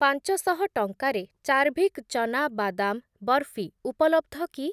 ପାଞ୍ଚଶହ ଟଙ୍କାରେ ଚାର୍ଭିକ୍ ଚନା ବାଦାମ୍ ବର୍‌ଫି ଉପଲବ୍ଧ କି?